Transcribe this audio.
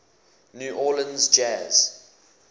new orleans jazz